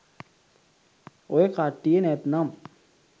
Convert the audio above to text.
ඔය කට්ටිය නැත්නම්